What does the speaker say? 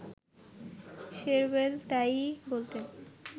শেরওয়েল তাই-ই বলতেন